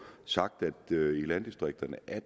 sagt at det i landdistrikterne er